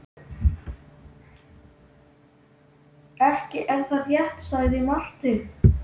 Ekki er það rétt, sagði Marteinn.